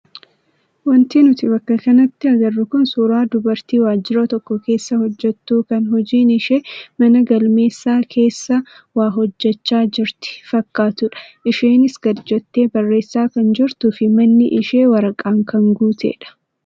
Wanti nuti bakka kanatti agarru kun suuraa dubartii waajjira tokko keessa hojjattu kan hojiin ishee mana galmeessa keessa waa hojjachaa jirti fakkatudha. Isheenis gadi jettee barreessaa kan jirtuu fi manni ishee waraqaan kan guutedha.